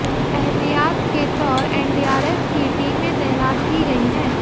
ऐहतियात के तौर एनडीआरएफ की टीमें तैनात की गई हैं